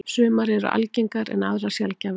Sumar eru algengar en aðrar sjaldgæfari.